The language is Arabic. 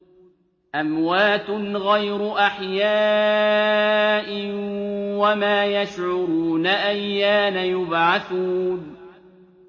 أَمْوَاتٌ غَيْرُ أَحْيَاءٍ ۖ وَمَا يَشْعُرُونَ أَيَّانَ يُبْعَثُونَ